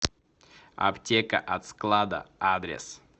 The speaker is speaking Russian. аптека от склада адрес